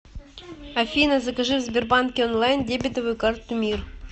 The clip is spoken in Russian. афина закажи в сбербанке онлайн дебетовую карту мир